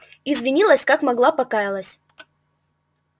извинилась как могла покаялась